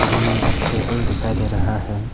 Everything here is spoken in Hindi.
रूम में एक टेबल दिखाई दे रहा है।